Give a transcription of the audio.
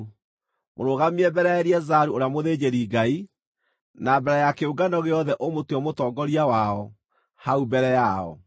Mũrũgamie mbere ya Eleazaru ũrĩa mũthĩnjĩri-Ngai, na mbere ya kĩũngano gĩothe ũmũtue mũtongoria wao hau mbere yao.